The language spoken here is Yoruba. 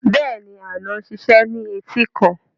Bẹ́ẹ̀ni, Aina ń ṣiṣẹ́ ní etíkun